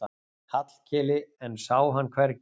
Hallkeli en sá hann hvergi.